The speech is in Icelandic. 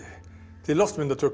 til